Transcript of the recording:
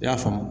I y'a faamu